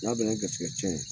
N'a bɛna ni garisɛkɛ cɛn ye